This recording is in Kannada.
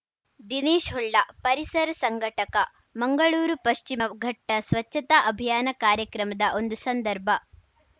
ದಿನೇಶ್‌ ಹೊಳ್ಳ ಪರಿಸರ ಸಂಘಟಕ ಮಂಗಳೂರು ಪಶ್ಚಿಮ ಘಟ್ಟಸ್ವಚ್ಛತಾ ಅಭಿಯಾನ ಕಾರ್ಯಕ್ರಮದ ಒಂದು ಸಂದರ್ಭ